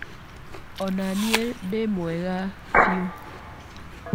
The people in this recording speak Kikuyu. O na niĩ ndĩ mwega fiũ.